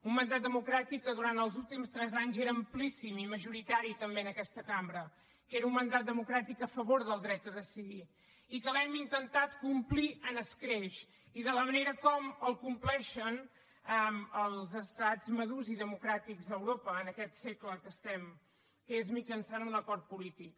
un mandat democràtic que durant els últims tres anys era amplíssim i majoritari també en aquesta cambra que era un mandat democràtic a favor del dret a decidir i que l’hem intentat complir amb escreix i de la manera com el compleixen els estats madurs i democràtics a europa en aquest segle que estem que és mitjançant un acord polític